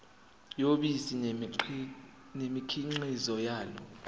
yobisi nemikhiqizo yalo